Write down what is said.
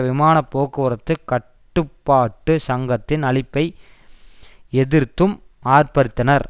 விமான போக்குவரத்து கட்டுப்பாட்டு சங்கத்தின் அழிப்பை எதிர்த்தும் ஆர்ப்பரித்தனர்